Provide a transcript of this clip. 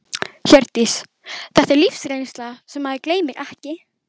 Hjördís: Þetta er lífsreynsla sem maður gleymir ekki?